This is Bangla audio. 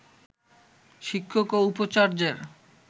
শিক্ষক ও উপাচার্যের